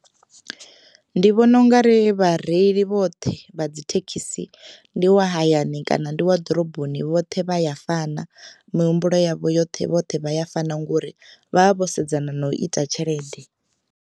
Ndi vhona ungari vhareili vhoṱhe vha dzi thekhisi ndi wa hayani kana ndi wa ḓoroboni vhoṱhe vha ya fana mihumbulo yavho yoṱhe vhoṱhe vha ya fana ngori vha vha vho sedzana na u ita tshelede.